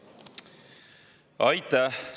Aitäh!